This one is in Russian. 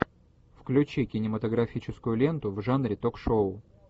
включи кинематографическую ленту в жанре ток шоу